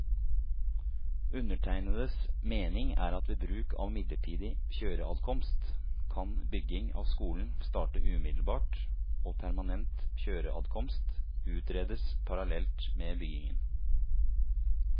Undertegnedes mening er at ved bruk av midlertidig kjøreadkomst, kan bygging av skolen starte umiddelbart og permanent kjøreadkomst utredes parallelt med byggingen.